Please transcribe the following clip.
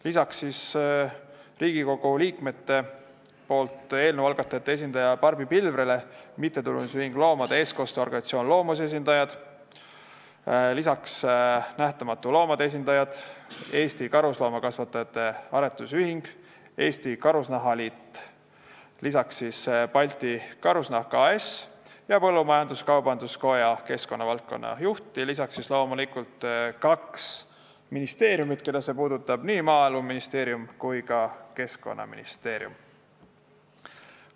Lisaks Riigikogus eelnõu algatajate esindajale Barbi Pilvrele olid kohal MTÜ loomade eestkoste organisatsiooni Loomus, Nähtamatute Loomade, Eesti Karusloomakasvatajate Aretusühingu, Eesti Karusnahaliidu ning Balti Karusnahk AS-i esindajad, Eesti Põllumajandus-Kaubanduskoja keskkonnavaldkonna juht ja loomulikult kahe ministeeriumi, keda see puudutab, nii Maaeluministeeriumi kui ka Keskkonnaministeeriumi esindajad.